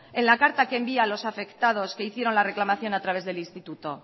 en la carta que envía a los afectados que hicieron la reclamación a través del instituto